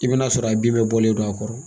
I bi n'a sɔrɔ a bin bɛɛ bɔlen don a kɔrɔ.